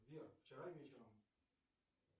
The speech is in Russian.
сбер вчера вечером